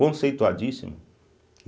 Conceituadíssimo.